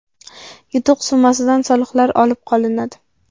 Yutuq summasidan soliqlar olib qolinadi.